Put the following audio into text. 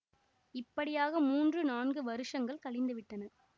இப்படியாக மூன்று நான்கு வருஷங்கள் கழிந்துவிட்டன